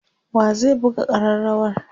wa zai buga karrawar?